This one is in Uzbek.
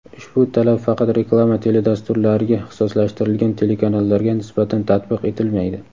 Ushbu talab faqat reklama teledasturlariga ixtisoslashtirilgan telekanallarga nisbatan tatbiq etilmaydi.